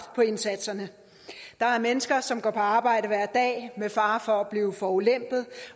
på indsatserne der er mennesker som går på arbejde hver dag med fare for at blive forulempet